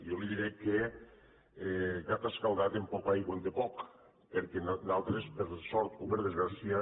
jo li diré que gat escaldat amb poca aigua en té poc perquè nosaltres per sort o per desgràcia